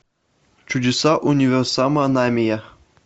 чудеса универсама намия